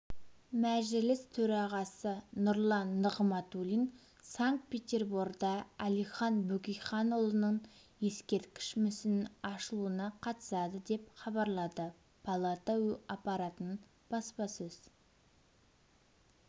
мәжіліс төрағасы нұрлан нығматулин санкт-петерборда әлихан бөкейханұлының ескерткіш мүсінінің ашылуына қатысады деп хабарлады палата аппаратының баспасөз